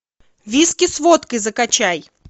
виски с водкой закачай